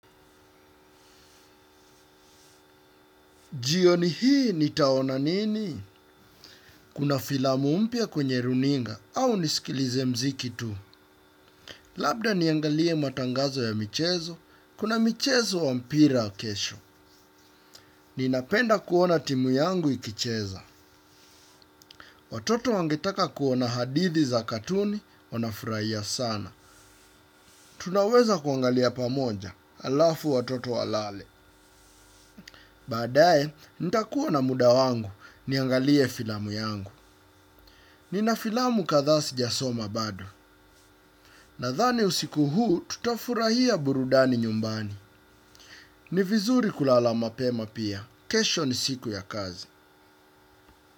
Jioni hii, nitaona nini? Kuna filamu mpya kwenye runinga au nisikilize mziki tu. Labda niangalie matangazo ya michezo, kuna michezo wa mpira kesho. Ninapenda kuona timu yangu ikicheza. Watoto wangetaka kuona hadithi za katuni, wanafurahia sana. Tunaweza kuangalia pamoja, alafu watoto walale. Baadae, nitakuwa na muda wangu, niangalie filamu yangu. Nina filamu kadhaa sijasoma bado nadhani usiku huu tutafurahia burudani nyumbani. Ni vizuri kulala mapema pia. Kesho ni siku ya kazi.